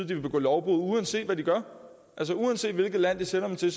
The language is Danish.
de vil begå lovbrud uanset hvad de gør uanset hvilket land de sender dem til